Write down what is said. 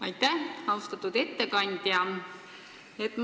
Aitäh, austatud ettekandja!